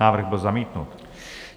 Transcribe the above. Návrh byl zamítnut.